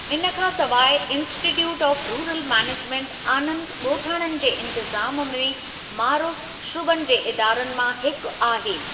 इन खां सवाइ, इन्स्टीट्यूट ऑफ़ रूरल मैनेजमेन्ट आनंदु ॻोठाणन जे इंतिज़ामु में मारूफ़ु शुबनि जे इदारनि मां हिकु आहे।